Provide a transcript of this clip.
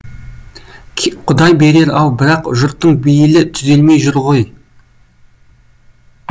құдай берер ау бірақ жұрттың бейілі түзелмей жүр ғой